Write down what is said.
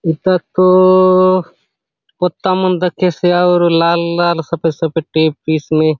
इता तो पत्ता मन दखेसे अउर लाल - लाल सफ़ेद - सफ़ेद टाइप पीस में --